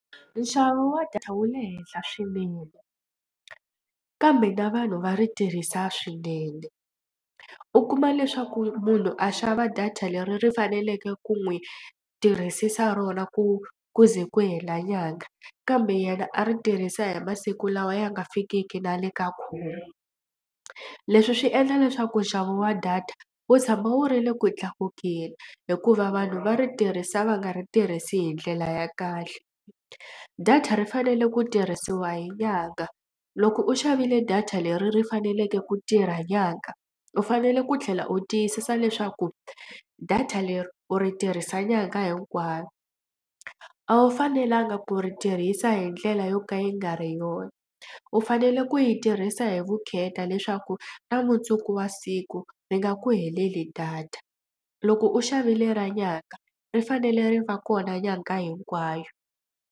Nxavo wa data wu le henhla swinene kambe na vanhu va ri tirhisa swinene u kuma leswaku munhu a xava data leri ri faneleke ku n'wi tirhisisa rona ku ku ze ku hela nyanga kambe yena a ri tirhisa hi masiku lawa ya nga fikiki na le ka khume. Leswi swi endla leswaku nxavo wa data wu tshama wu ri le ku tlakukeni hikuva vanhu va ri tirhisa va nga ri tirhisi hi ndlela ya kahle. Data ri fanele ku tirhisiwa hi nyanga loko u xavile data leri ri faneleke ku tirha nyanga u fanele ku tlhela u tiyisisa leswaku data leri u ri tirhisa nyangha hinkwayo. A wu fanelanga ku ri tirhisa hi ndlela yo ka yi nga ri yona u fanele ku yi tirhisa hi vukheta leswaku ka mundzuku wa siku ri nga ku heleli data. Loko u xavile ra nyanga ri fanele ri va kona nyangha hinkwayo.